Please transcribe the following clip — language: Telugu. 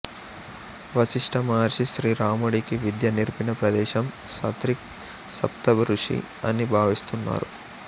వశిష్ఠమహర్షి శ్రీ రాముడికి విద్య నేర్పిన ప్రదేశం సత్రిక్ సప్తఋషి అని భావిస్తున్నారు